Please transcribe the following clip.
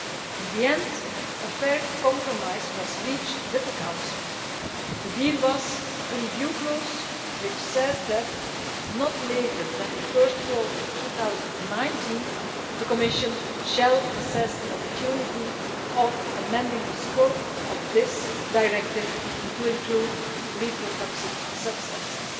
In the end, a fair compromise was reached with the Council. The deal was a review clause which says that not later than the first quarter of 2019 the Commission shall assess the opportunity of amending the scope of this directive to include reprotoxic substances'.